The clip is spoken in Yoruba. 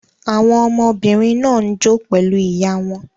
Àwọn ọmọbìnrin náà ń jó pẹ̀lú ìyá wọn.